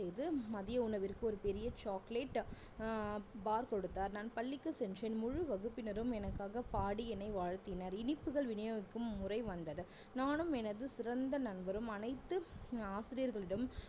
செய்து மதிய உணவிற்கு ஒரு பெரிய chocolate ஆஹ் bar கொடுத்தார் நான் பள்ளிக்கு சென்றேன் முழு வகுப்பினரும் எனக்காக பாடி என்னை வாழ்த்தினர் இனிப்புகள் விநியோகிக்கும் முறை வந்தது நானும் எனது சிறந்த நண்பரும் அனைத்து ஆசிரியர்களிடம்